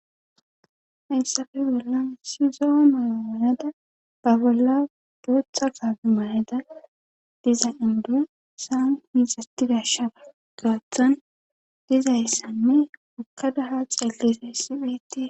hayssappe bollan sizoo mayaanada ba bolla buotxa kaafe mayeda diza induyu saan mizatidashara gaaththon dizayssanne okkadaha xeelle isayssi phitie